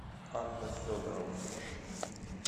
анна федорова